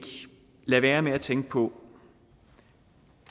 lade være med at tænke på